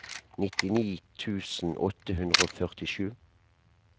nittini tusen åtte hundre og førtisju